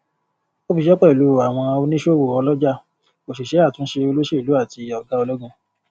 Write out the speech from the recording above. ó fiṣe pẹlú àwọn oníṣòwò ọlọjà òṣìṣẹ àtúnṣe olóṣèlú àti ọgá ologun